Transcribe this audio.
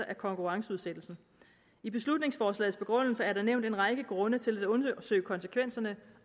af konkurrenceudsættelsen i beslutningsforslagets begrundelse er der nævnt en række grunde til at undersøge konsekvenserne